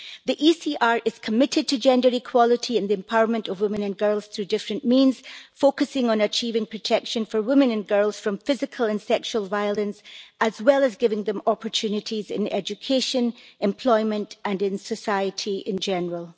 The ECR is committed to gender equality and the empowerment of women and girls through different means, focusing on achieving protection for women and girls from physical and sexual violence, as well as giving them opportunities in education, employment and in society in general.